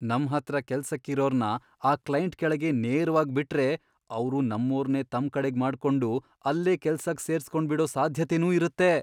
ನಮ್ ಹತ್ರ ಕೆಲ್ಸಕ್ ಇರೋರ್ನ ಆ ಕ್ಲೈಂಟ್ ಕೆಳಗೇ ನೇರ್ವಾಗ್ ಬಿಟ್ರೆ ಅವ್ರು ನಮ್ಮೋರ್ನೇ ತಮ್ಕಡೆಗ್ ಮಾಡ್ಕೊಂಡು ಅಲ್ಲೇ ಕೆಲ್ಸಕ್ ಸೇರ್ಸ್ಕೊಂಡ್ಬಿಡೋ ಸಾಧ್ಯತೆನೂ ಇರತ್ತೆ.